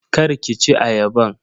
Kar ki ci ayaban.